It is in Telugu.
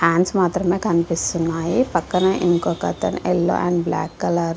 హ్యాండ్స్ మాత్రమే కనిపిస్తున్నాయి. పక్కనే ఇంకొకతన్ యెల్లో అండ్ బ్లాక్ కలర్ --